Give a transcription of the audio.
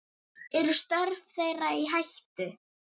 Eru störf þeirra í hættu?